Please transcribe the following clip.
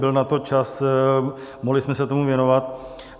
Byl na to čas, mohli jsme se tomu věnovat.